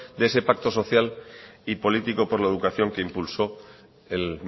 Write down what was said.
de ese pacto social y político por la educación que impulsó el